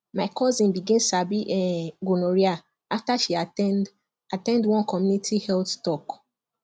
my cousin begin sabi um gonorrhea after she at ten d at ten d one community health talk